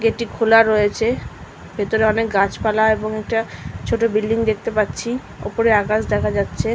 গেটটি খোলা রয়েছে ভেতরে অনেক গাছপালা এবং এটা ছোট বিল্ডিং দেখতে পাচ্ছি উপরে আকাশ দেখা যাচ্ছে।